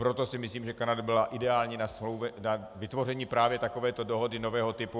Proto si myslím, že Kanada byla ideální na vytvoření právě takovéto dohody nového typu.